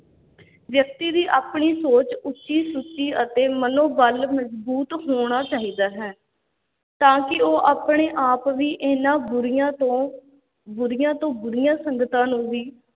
ਵਿਅਕਤੀ ਦੀ ਆਪਣੀ ਸੋਚ ਉੱਚੀ-ਸੁੱਚੀ ਅਤੇ ਮਨੋ-ਬਲ ਮਜ਼ਬੂਤ ਹੋਣਾ ਚਾਹੀਦਾ ਹੈ, ਤਾਂ ਕਿ ਉਹ ਆਪਣੇ ਆਪ ਵੀ ਇਹਨਾਂ ਬੁਰੀਆਂ ਤੋਂ, ਬੁਰੀਆਂ ਤੋਂ ਬੁਰੀਆਂ ਸੰਗਤਾਂ ਨੂੰ ਵੀ